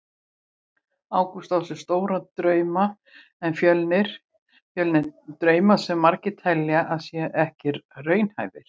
Ágúst á sér stóra drauma með Fjölni, drauma sem margir telja að séu ekki raunhæfir.